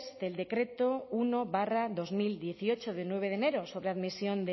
del decreto uno barra dos mil dieciocho de nueve de enero sobre admisión